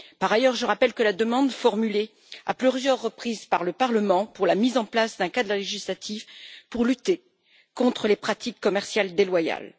Par ailleurs, je rappelle la demande formulée à plusieurs reprises par le Parlement pour la mise en place d'un cadre législatif pour lutter contre les pratiques commerciales déloyales.